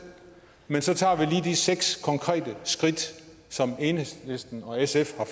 men så tager vi de seks konkrete skridt som enhedslisten og sf har